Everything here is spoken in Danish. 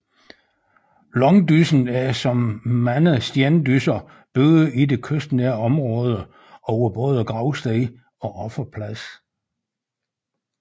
Langdyssen er som mange stendysser bygget i det kystnære område og var både gravsted og offerplads